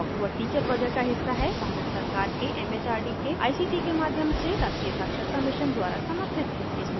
spoken tutorial talk to a teacher project का हिस्सा हैं भारत सरकार के एम एच आर डी के आई सी टी के माध्यम से राष्ट्रीय साक्षरता मिशन द्वारा समर्थित हैं